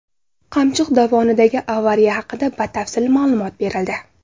Qamchiq dovonidagi avariya haqida batafsil ma’lumot berildi.